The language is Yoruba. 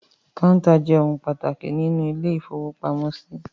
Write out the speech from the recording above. Kọ́ńtà jẹ́ ohun pàtàkì nínú ilé-ìfowópamọ́sí.